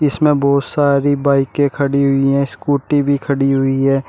इसमें बहुत सारी बाइके खड़ी हुई हैं स्कूटी भी खड़ी हुई है।